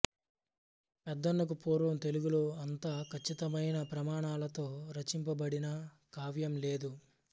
పెద్దనకు పూర్వం తెలుగులో అంత కచ్చితమైన ప్రమాణాలతో రచింపబడిన కావ్యం లేదు